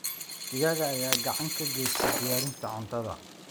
Digaagga ayaa gacan ka geysta diyaarinta cuntada.